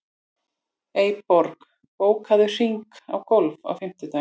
Eyborg, bókaðu hring í golf á fimmtudaginn.